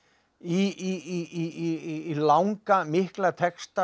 í langa mikla texta